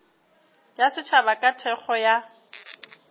ya setšhaba ka thekgo ya